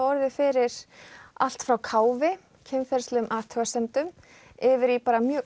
orðið fyrir allt frá káfi kynferðislegum athugasemdum yfir í bara mjög